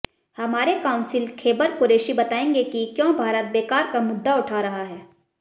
हमारे काउंसिल खैबर कुरैशी बताएंगे कि क्यों भारत बेकार का मुद्दा उठा रहा है